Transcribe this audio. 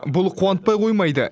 бұл қуантпай қоймайды